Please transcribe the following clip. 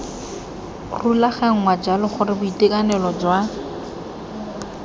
rulaganngwa jalo gore boitekanelo jwa